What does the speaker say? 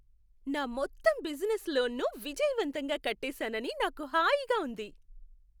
నా మొత్తం బిజినెస్ లోన్ను విజయవంతంగా కట్టేసానని నాకు హాయిగా ఉంది.